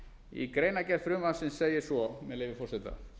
í greinargerð frumvarpsins segir svo með leyfi forseta